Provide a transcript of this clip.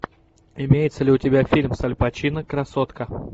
имеется ли у тебя фильм с аль пачино красотка